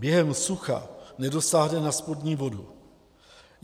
Během sucha nedosáhne na spodní vodu.